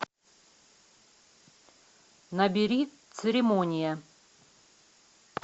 набери церемония